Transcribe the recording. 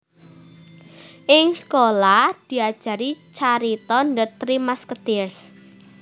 Ing sekolah diajari carita The Three Musketeers